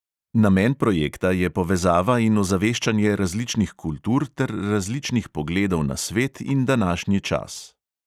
Namen projekta je povezava in ozaveščanje različnih kultur ter različnih pogledov na svet in današnji čas.